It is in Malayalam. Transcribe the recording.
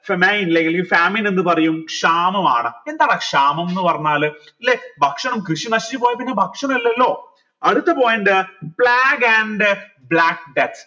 എന്ന് പറയും ക്ഷാമമാണ് എന്താണ് ക്ഷാമം ന്ന് പറഞ്ഞാൽ ല്ലെ ഭക്ഷണം കൃഷി നശിച്ചു പോയ പിന്നെ ഭക്ഷണം ഇല്ലല്ലോ അടുത്ത point